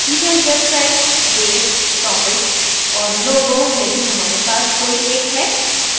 event website date topics और logo यदि हमारे पास कोई एक है